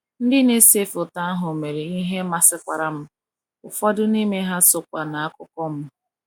ndị na ese foto ahụ mere ihe masịkwara m, ụfọdụ n’ime ha sokwa n’akụkọ m.